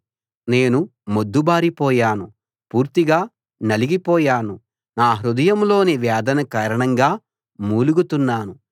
నేను మొద్దుబారిపోయాను పూర్తిగా నలిగిపోయాను నా హృదయంలోని వేదన కారణంగా మూలుగుతున్నాను